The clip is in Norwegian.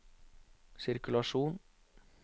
sirkulasjon